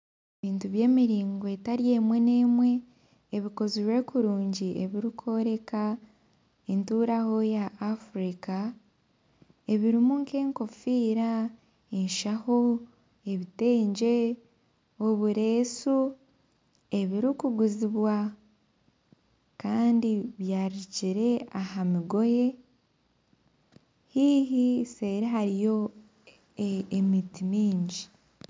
Ebintu by'emiringo etari emwe n'emwe ebikozirwe kurungi ebirikoreka enturaho ya Afirica ebirimu nka enkofiira, eshaho, ebitengye, obureesu, ebirikuguzibwa kandi byaririkire aha migoye haihi seri hariyo emiti mingi.